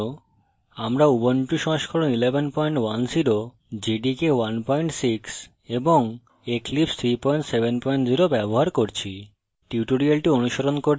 এই tutorial জন্য আমরা